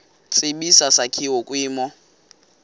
tsibizi sakhiwa kwimo